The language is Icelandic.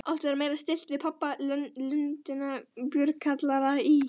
Áttu þær meira skylt við pöbba Lundúna en bjórkjallara í